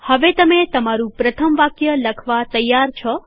હવે તમે તમારું પ્રથમ વાક્ય લખવા તૈયાર છો